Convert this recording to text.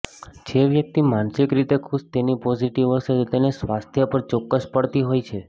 જે વ્યક્તિ માનસિક રીતે ખુશ તેની પોઝિટિવ અસર તેના સ્વાસ્થ્ય પર ચોક્કસ પડતી હોય છે